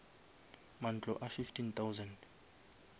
mantlo a fifteen thousand